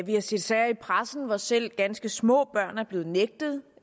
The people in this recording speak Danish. vi har set sager i pressen hvor selv ganske små børn er blevet nægtet